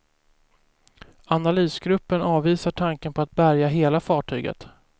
Analysgruppen avvisar tanken på att bärga hela fartyget.